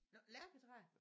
Nåh lærketræer?